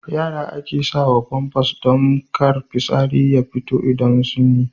Yara ake sawa Famfas don kar fitsari ya fito idan sun yi.